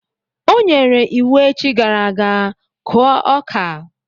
O nyere iwu echi gara aga, kụọ ọka!